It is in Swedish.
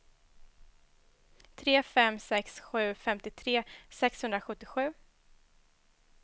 tre fem sex sju femtiotre sexhundrasjuttiosju